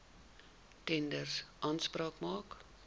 tenders aanspraak maak